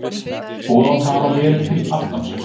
Boðað hafði verið til aftansöngs.